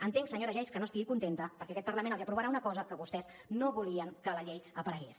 entenc senyora geis que no estigui contenta perquè aquest parlament els aprovarà una cosa que vostès no volien que a la llei aparegués